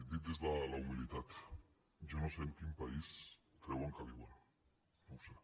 dit des de la humilitat jo no sé en quin país creuen que viuen no ho sé